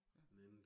Ja